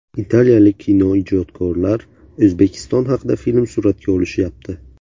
Italiyalik kinoijodkorlar O‘zbekiston haqida film suratga olishyapti.